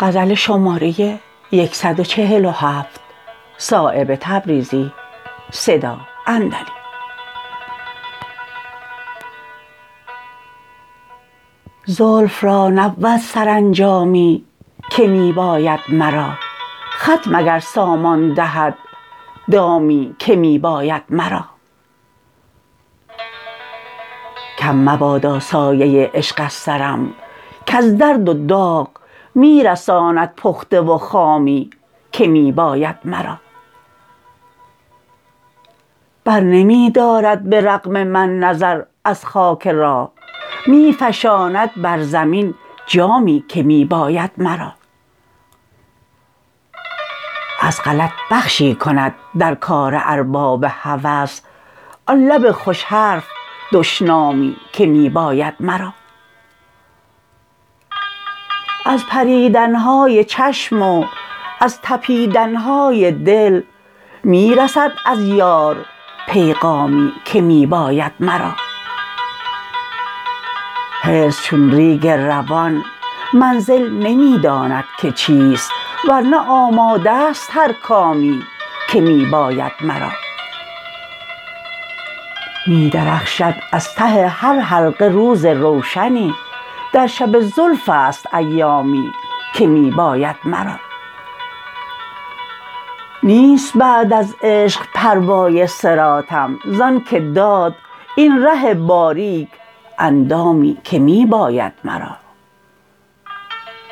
زلف را نبود سرانجامی که می باید مرا خط مگر سامان دهد دامی که می باید مرا کم مبادا سایه عشق از سرم کز درد و داغ می رساند پخته و خامی که می باید مرا برنمی دارد به رغم من نظر از خاک راه می فشاند بر زمین جامی که می باید مرا از غلط بخشی کند در کار ارباب هوس آن لب خوش حرف دشنامی که می باید مرا از پریدن های چشم و از تپیدن های دل می رسد از یار پیغامی که می باید مرا حرص چون ریگروان منزل نمی داند که چیست ور نه آماده است هر کامی که می باید مرا می درخشد از ته هر حلقه روز روشنی در شب زلف است ایامی که می باید مرا نیست بعد از عشق پروای صراطم زان که داد این ره باریک اندامی که می باید مرا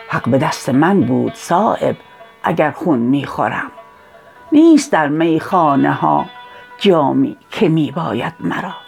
حق به دست من بود صایب اگر خون می خورم نیست در میخانه ها جامی که می باید مرا